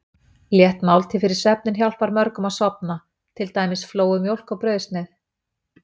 Létt máltíð fyrir svefninn hjálpar mörgum að sofna, til dæmis flóuð mjólk og brauðsneið.